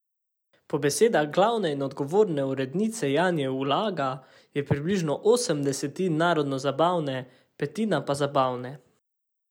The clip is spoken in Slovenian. Po besedah glavne in odgovorne urednice Janje Ulaga je približno osem desetin narodnozabavne, petina pa zabavne.